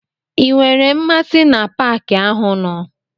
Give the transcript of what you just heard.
I nwere mmasị na paki ahụ nọ?